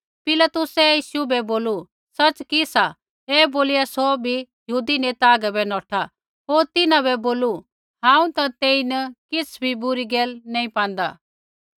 पिलातुसै यीशु बै बोलू सच़ कि सा ऐ बोलिया सौ भी यहूदी नेता हागै बै नौठा होर तिन्हां बै बोलू हांऊँ ता तेईन किछ़ भी बुरी गैल नैंई पांदा